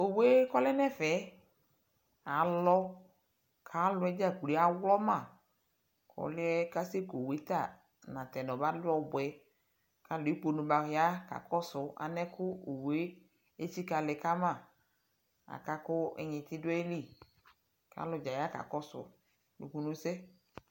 ɔwʋɛ kʋ ɔlɛnʋ ɛƒɛ alɔ kʋ ayi alɔɛ dza awlɔma, ɔlʋɛ asɛ kʋ ɔwʋɛ ta natɛnʋ nʋ ɔmalɛ ɔbʋɛ kʋ alʋ ɛkpɔnɔ baya kakɔsʋ anɛkʋ ɔwʋɛ itsika lɛ kama, akakʋ inyiti dʋ ayili kʋ alʋ dza ya kakɔsʋ ʋnʋkʋnʋ sɛ.